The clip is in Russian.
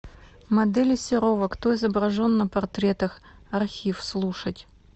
модели серова кто изображен на портретах архив слушать